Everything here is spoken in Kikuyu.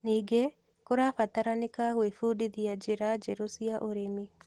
Ningĩ, kũrabataranĩka gwĩbundithia njĩra njerũ cia ũrĩmi.